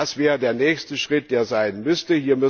Das wäre der nächste Schritt, der sein müsste.